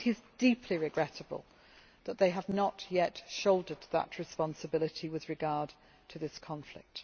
It is deeply regrettable that they have not yet shouldered that responsibility with regard to this conflict.